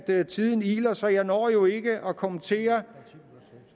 at tiden iler så jeg når jo ikke at kommentere